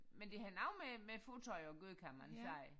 Men det har noget med med fodtøj at gøre kan man sige